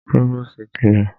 Próvòstì ti lọ.